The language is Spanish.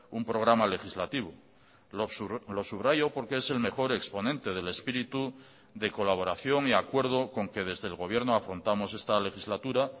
un programa legislativo lo subrayo porque es el mejor exponente del espíritu de colaboración y acuerdo con que desde el gobierno afrontamos esta legislatura